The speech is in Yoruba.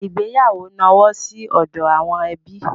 Ìgbéyàwó nọwọ́ sí ọdọ àwọn ẹbí.